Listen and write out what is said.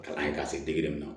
Kalan ye k'a se degere min na